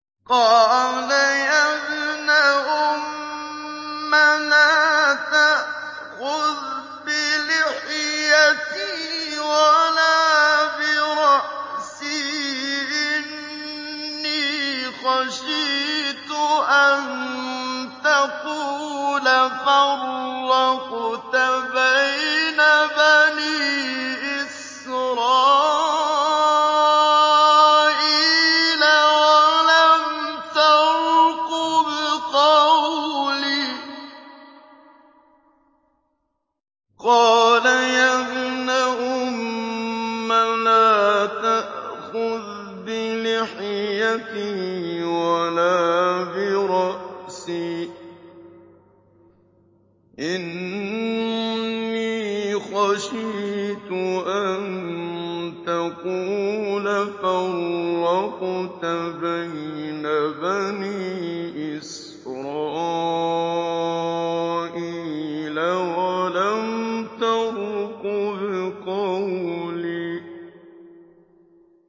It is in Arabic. قَالَ يَا ابْنَ أُمَّ لَا تَأْخُذْ بِلِحْيَتِي وَلَا بِرَأْسِي ۖ إِنِّي خَشِيتُ أَن تَقُولَ فَرَّقْتَ بَيْنَ بَنِي إِسْرَائِيلَ وَلَمْ تَرْقُبْ قَوْلِي